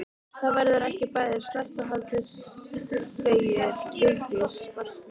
Það verður ekki bæði sleppt og haldið segir Vigdís forseti.